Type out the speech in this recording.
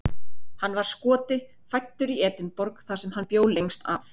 Hann var Skoti, fæddur í Edinborg þar sem hann bjó lengst af.